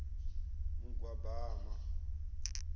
mugwabama